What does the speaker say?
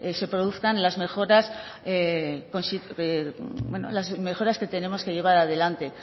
se produzcan las mejoras que tenemos que llevar adelante